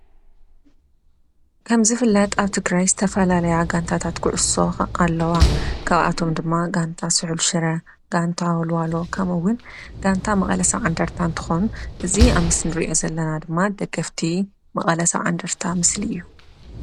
ከምዝፍለጥ አብ ትግራይ ዝተፈላለያ ጋንታታት ኩዕሶ አለዋ፡፡ ካብአቶም ድማ ጋንታ ስሑል ሽረ፣ ጋንታ ወልዋሎ ከምኡ’ውን ጋንታ መቐለ 70 እንደርታ እንትኸውን እዚ አብ ምስሊ እንሪኦ ዘለና ድማ ደገፍቲ መቐለ 70 እንደርታ ምስሊ እዩ፡፡